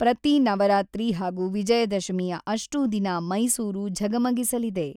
ಪ್ರತಿ ನವರಾತ್ರಿ ಹಾಗೂ ವಿಜಯದಶಮಿಯ ಅಷ್ಟೂ ದಿನ ಮೈಸೂರು ಝಗಮಗಿಸಲಿದೆ.